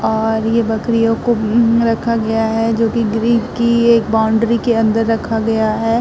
और ये बकरियों को रखा गया है जोकि ग्रीक की एक बाउंड्री के अंदर रखा गया है।